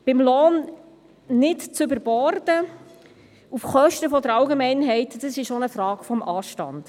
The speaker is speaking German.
Beim Lohn nicht auf Kosten der Allgemeinheit zu überborden, ist auch eine Frage des Anstands.